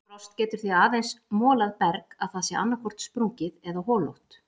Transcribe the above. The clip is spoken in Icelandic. Frost getur því aðeins molað berg að það sé annaðhvort sprungið eða holótt.